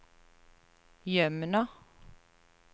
Jømna